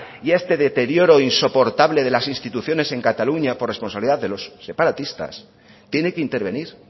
y a este deterioro insoportable de las instituciones en cataluña por responsabilidad de los separatistas tiene que intervenir